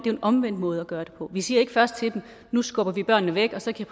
er en omvendt måde at gøre det på for vi siger ikke først til dem nu skubber vi børnene væk og så kan